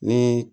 Ni